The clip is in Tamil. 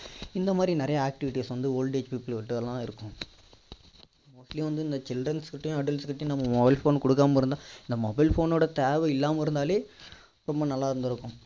இந்த மாதிரி நிறைய activities வந்து old age people கிட்டலாம் இருக்கும் actually வந்து இந்த childrens கிடையும் adults கிட்டையும் நம்ம mobile phone கொடுக்காம இருந்தா இந்த mobile phone னோட தேவை இல்லாம இருந்தாலே ரொம்ப நல்லா இருந்திருக்கும்